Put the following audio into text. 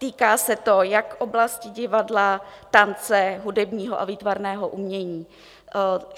Týká se to jak oblasti divadla, tance, hudebního a výtvarného umění.